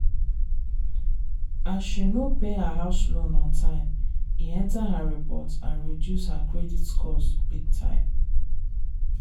as she no pay her house loan on time e enter her report and reduce her credit scores big time.